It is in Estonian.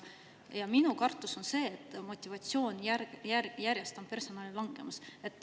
Ja minu kartus on see, et personali motivatsioon järjest langeb.